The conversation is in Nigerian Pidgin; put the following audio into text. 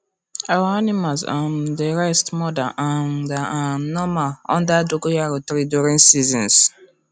our animals um dey rest more dan um dan um normal under dogoyaro tree during seasons